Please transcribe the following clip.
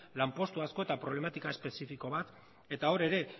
lanpostu asko eta problematika espezifiko bat eta hor ere